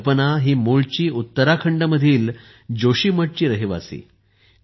कल्पना ही मूळची उत्तराखंडमधील जोशी मठची रहिवासी आहे